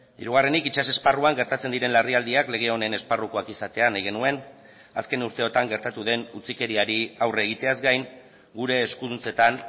hirugarrenik itsas esparruan gertatzen diren larrialdiak lege honen esparrukoak izatea nahi genuen azken urteotan gertatu den utzikeriari aurre egiteaz gain gure eskuduntzetan